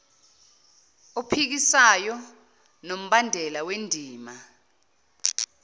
ophikisayo nombandela wendima